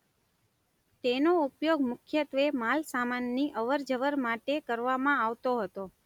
તેનો ઉપયોગ મુખ્યત્વે માલસામાનની અવરજવર માટે કરવામાં આવતો હતો.